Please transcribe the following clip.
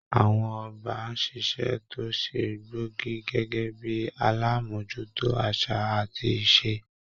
Àwọn ọba ń ṣíṣe tó ṣe gbóògì gẹ́gẹ́ bíi alámójútó àṣà àti ìṣe.